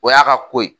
O y'a ka ko ye